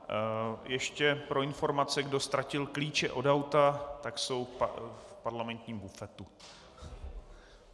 Ještě pro informaci: kdo ztratil klíče od auta, tak jsou v parlamentním bufetu.